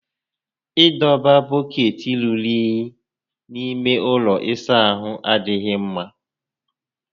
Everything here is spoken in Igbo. Ị dọba bọkeetị rùrù únyí n'ime ụlọ ịsa ahụ adịghị mmá